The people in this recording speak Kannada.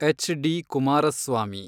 H D Kumaraswamy